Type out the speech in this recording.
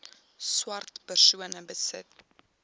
swart persone besit